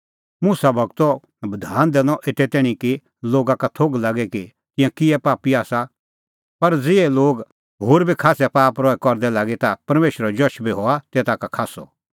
मुसा गूरो बधान दैनअ एते तैणीं कि लोगा का थोघ लागे कि तिंयां किहै पापी आसा पर ज़िहै लोग होर बी खास्सै पाप रहै करदै लागी ता परमेशरो जश बी हुअ तेता का खास्सअ